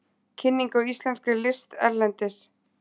Kynning á íslenskri list erlendis